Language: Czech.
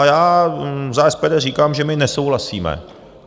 A já za SPD říkám, že my nesouhlasíme.